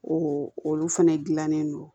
olu fɛnɛ dilannen don